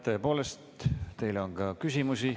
Tõepoolest, teile on küsimusi.